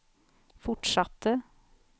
fortsatte